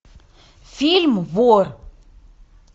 фильм вор